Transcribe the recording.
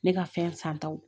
Ne ka fɛn san taw